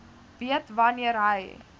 weet wanneer hy